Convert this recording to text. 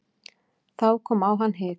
Þá kom á hann hik.